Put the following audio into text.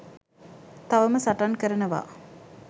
තවම සටන් කරනවා